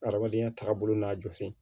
Adamadenya taabolo n'a jɔsi